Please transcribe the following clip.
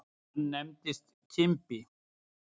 Hann nefndist Kimbi.